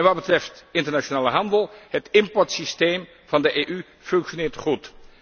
Wat betreft internationale handel Het importsysteem van de EU functioneert goed.